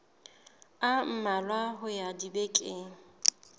a mmalwa ho ya dibekeng